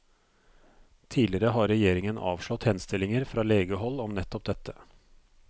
Tidligere har regjeringen avslått henstillinger fra legehold om nettopp dette.